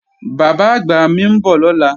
Bàbá-àgbà mi ń bọ̀ lọ́la